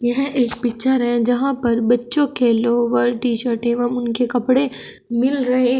यह एक पिक्चर है जहां पर बच्चों के लोअर टीशर्ट एवं उनके कपड़े मिल रहे हैं।